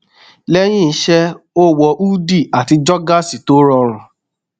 lẹyìn iṣẹ ó wọ húdì àti jogásì tó rọrùn